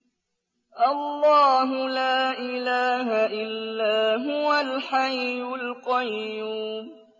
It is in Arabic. اللَّهُ لَا إِلَٰهَ إِلَّا هُوَ الْحَيُّ الْقَيُّومُ